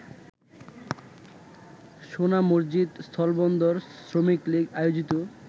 সোনামসজিদ স্থলবন্দর শ্রমিকলীগ আয়োজিত